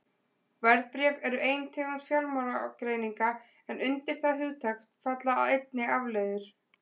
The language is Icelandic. Verðbréf eru ein tegund fjármálagerninga en undir það hugtak falla einnig afleiður.